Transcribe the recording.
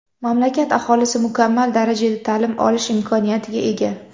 Mamlakat aholisi mukammal darajada ta’lim olish imkoniyatiga ega.